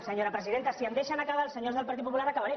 senyora presidenta si em deixen acabar els senyors del partit popular acabaré